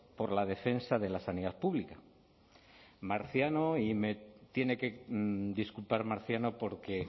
por la defensa de la sanidad pública marciano y me tiene que disculpar marciano porque